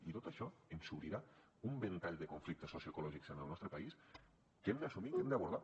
i tot això ens obrirà un ventall de conflictes socioecològics en el nostre país que hem d’assumir que hem d’abordar